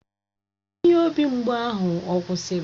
Ihe obi mgbụ ahụ ọ kwụsịrị?